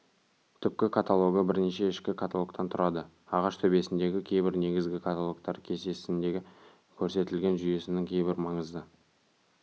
түпкі каталогы бірнеше ішкі каталогтан тұрады ағаш төбесіндегі кейбір негізгі каталогтар кестесінде көрсетілген жүйесінің кейбір маңызды